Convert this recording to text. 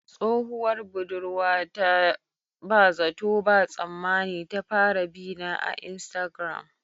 Tsohuwar budurwata ba zato ba tsammani ta fara bina a iastagram